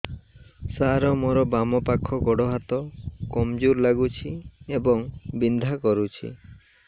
ସାର ମୋର ବାମ ପାଖ ଗୋଡ ହାତ କମଜୁର ଲାଗୁଛି ଏବଂ ବିନ୍ଧା କରୁଛି